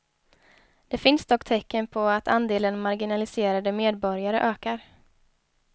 Det finns dock tecken på att andelen marginaliserade medborgare ökar.